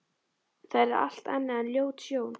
Það yrði allt annað en ljót sjón.